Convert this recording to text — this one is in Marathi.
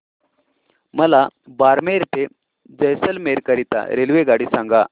मला बारमेर ते जैसलमेर करीता रेल्वेगाडी सांगा